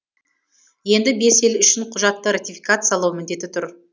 енді бес ел үшін құжатты ратификациялау міндеті тұр